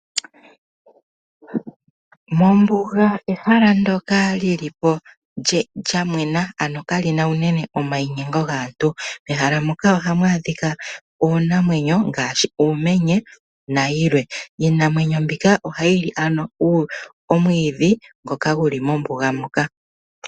Mombuga ehala ndyoka lyi li po lyamwena, ano kali na uunene omayinyengo gaantu. Mehala moka oha mu adhika uunamwenyo ngaashi uumenye na yilwe. Iinamwenyo mbika oha yi li ano omwiidhi ngoka guli mombuga moka.